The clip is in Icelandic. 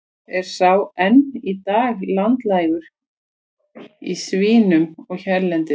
Er sá enn í dag landlægur í svínum hérlendis.